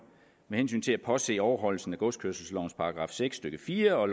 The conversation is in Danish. med hensyn til at påse overholdelse af godskørselslovens § seks stykke fire og